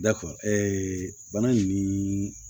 Dakɔri bana nin